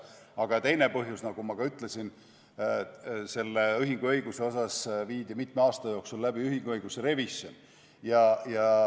Aga teine põhjus, nagu ma ka ütlesin, oli see, et mitme aasta jooksul viidi läbi ühinguõiguse revisjon.